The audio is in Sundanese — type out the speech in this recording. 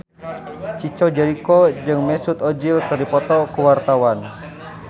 Chico Jericho jeung Mesut Ozil keur dipoto ku wartawan